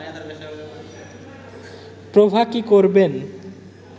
প্রভা কি করবেন